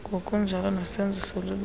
ngokunjalo nesenzo soluleko